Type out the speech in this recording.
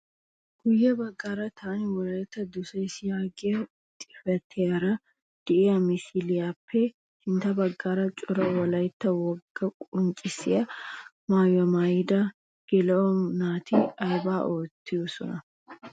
Guye baggaara "Taani wolaytta dosays" yaagiyaa xifatiyaara de'iyaa misiliyaappe sintta baggaara cora wolaytta wogaa qonccisiyaa maayuwaa maayida geela'o naati aybaa oottiyoonaa?